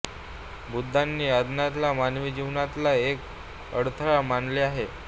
बुद्धांनी अज्ञानाला मानवी जीवनातला एक अडथळा मानले आहे